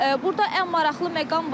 Burda ən maraqlı məqam var.